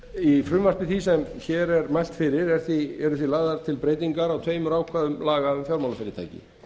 í frumvarpi því sem hér er mælt fyrir eru því lagðar til breytingar á tveimur ákvæðum laga um fjármálafyrirtæki